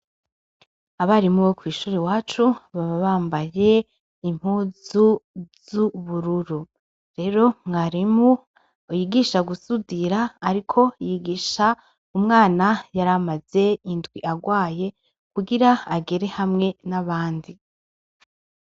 Abarimu bo kwishur'iwacu, baba bambay'impuzu z'ubururu. Rero, mwarimu yigisha gusudir'ariko yigish'umwana yaramaz'indw'agwaye, kugir'agere hamwe n abandi.